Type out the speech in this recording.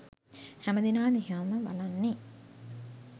හැමදෙනා දිහාම බලන්නේ